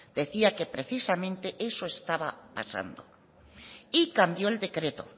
decía que precisamente eso estaba pasando y cambió el decreto